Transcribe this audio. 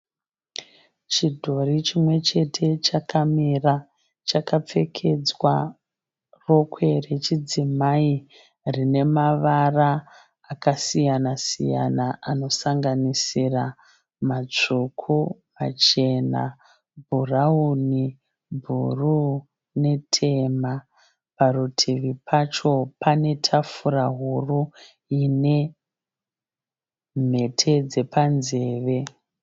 Chidhori chimwechete chakamira chakapfekedzwa rokwe rechidzimai rine mavara akasiya siyana anosanganira matsvuku, machena, bhurauni, bhuruu, netema. Parutivi pacho pane patafura huru ine mhete dzepanzeve.